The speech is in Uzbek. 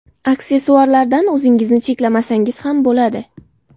Aksessuarlardan o‘zingizni cheklamasangiz ham bo‘ladi.